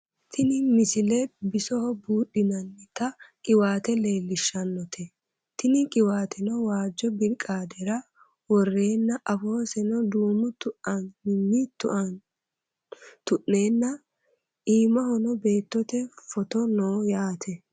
tini misile bisoho buudhinannita qiwaate leellishshannote tini qiwaateno waajjo birqaadera worreenna afoosesno duumu tuaninni tu'neenna iimahono beettote footo no yaate